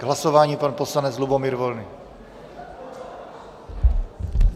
K hlasování pan poslanec Lubomír Volný.